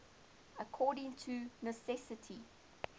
according to necessity